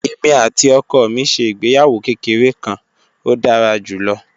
Èmi àti ọkọ mi ṣe ìgbéyàwó kékeré kan, ó dára jù lọ